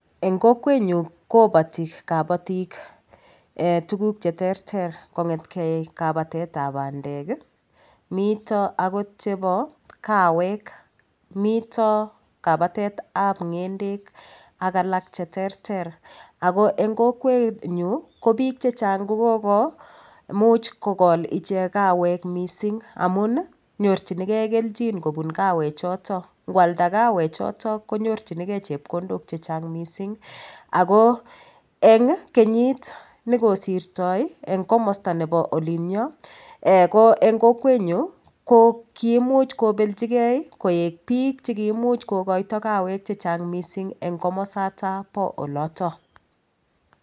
Eng' kokwenyu kobati kabatik tuguk cheterter kong'etkei kabatetab bandek mito akot chebo kawek mito kabatetab ng'endek ak alak cheterter ako eng' kokwenyu ko biik chechang' kukomuch kokol ichek kawek mising' amun nyorchingei keljin kobun kawechoto ngwalda kawechoto konyorchingei chepkondok chechang' mising' ako eng' kenyit nekosirtoi eng' komosta nebo olinyoo ko eng' kokwenyu ko kiimuch kobeljigei koek biik chekiimuch kokoito kawek chechang'mising' eng' komosata bo oloto